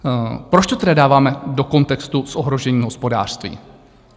Proč to tedy dáváme do kontextu s ohrožením hospodářství?